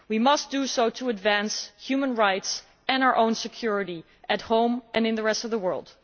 We must do so to advance human rights and our own security at home and in the rest of the world.